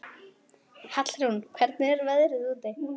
Hallrún, hvernig er veðrið úti?